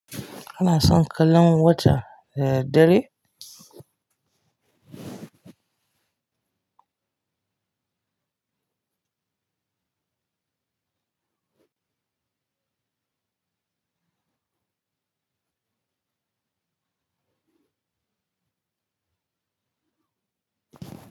Kana son kallon wata da daddare?